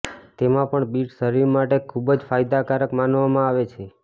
તેમાં પણ બીટ શરીર માટે ખુબ જ ફાયદાકારક માનવામાં આવે છે